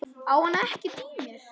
Á hann ekkert í mér?